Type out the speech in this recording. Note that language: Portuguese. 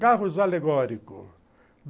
Carros alegórico.